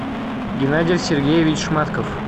геннадий сергеевич шматков